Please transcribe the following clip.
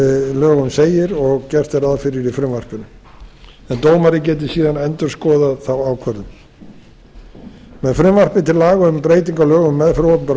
lögum segir og gert er ráð fyrir í frumvarpinu en dómari geti síðan endurskoðað þá ákvörðun með frumvarpi til laga um breytingu á lögum um meðferð opinberra